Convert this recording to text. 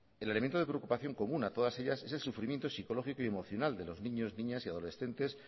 el elemento de preocupación común a todas ellas es el sufrimiento psicológico y emocional de los niños niñas y adolescentes